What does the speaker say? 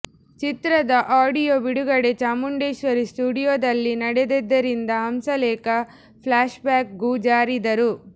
ಚಿತ್ರದ ಆಡಿಯೋ ಬಿಡುಗಡೆ ಚಾಮುಂಡೇಶ್ವರಿ ಸ್ಟುಡಿಯೋದಲ್ಲಿ ನಡೆದಿದ್ದರಿಂದ ಹಂಸಲೇಖ ಫ್ಲ್ಯಾಶ್ಬ್ಯಾಕ್ ಗೂ ಜಾರಿದರು